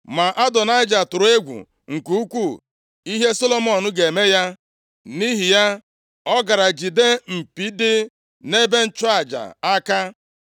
Ma Adonaịja tụrụ egwu nke ukwuu ihe Solomọn ga-eme ya, nʼihi ya, ọ gara jide mpi dị nʼebe ịchụ aja aka.